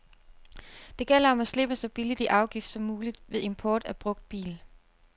Det gælder om at slippe så billigt i afgift som mulig ved import af brugt bil.